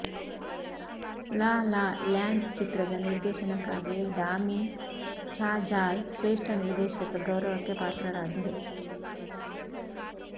ಲಾ La Land ಚಿತ್ರದ ನಿರ್ದೇಶನಕ್ಕಾಗಿ Damien Chazelle ಶ್ರೇಷ್ಠ ನಿರ್ದೇಶಕ ಗೌರವಕ್ಕೆ ಪಾತ್ರರಾದರು